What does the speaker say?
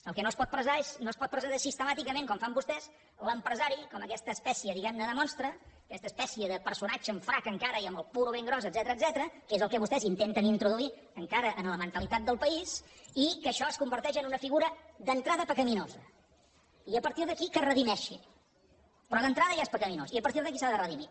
el que no es pot presentar és sistemàticament com fan vostès l’empresari com aquesta espècie diguem ne de monstre aquesta espècie de personatge amb frac encara i amb el puro ben gros etcètera que és el que vostès intenten introduir encara a la mentalitat del país i que això es converteix en una figura d’entrada pecaminosa i a partir d’aquí que es redimeixi però d’entrada ja és pecaminós i a partir d’aquí s’ha de redimir